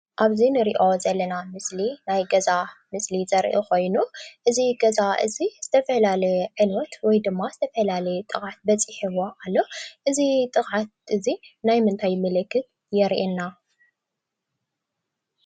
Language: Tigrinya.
ኣብዚ ንሪኦ ዘለና ምስሊ ናይ ገዛ ምስሊ ዘርኢ ኾይኑ እዚ ገዛ እዚ ዝተፈላለየ ዕንወት ወይ ድማ ዝተፈላለየ ጥቕዓት በፂሕዎ ኣሎ፡፡ እዚ ጥቕዓት እዚ ናይ ምንታይ ምልክት የሪአና?